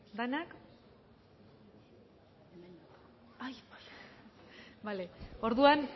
denak bale orduan